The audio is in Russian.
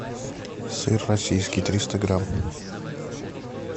сыр российский триста грамм